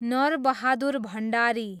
Narbahadur Bhandari